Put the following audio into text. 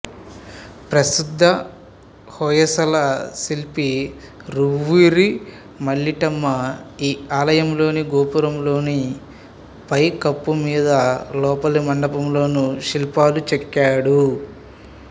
ప్రసిధ్ధ హొయసల శిల్పి రువరి మల్లిటమ్మ ఈ ఆలయంలోని గోపురంలోని పైకప్పు మీద లోపలి మండపంలోను శిల్పాలు చెక్కాడు